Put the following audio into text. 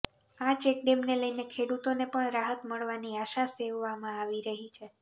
આ ચેકડેમને લઈને ખેડુતોને પણ રાહત મળવાની આશા સેવવામાં આવી રહી છે